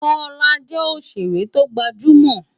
Kola jè óṣéré tógbájúmò